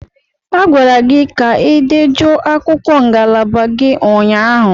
A gwara gị ka ị dejuo akwụkwọ ngalaba gị ụnyaahụ!